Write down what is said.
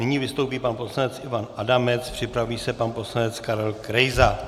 Nyní vystoupí pan poslanec Ivan Adamec, připraví se pan poslanec Karel Krejza.